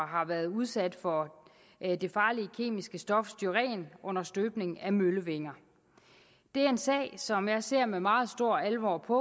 har været udsat for det farlige kemiske stof styren under støbningen af møllevinger det er en sag som jeg ser med meget stor alvor på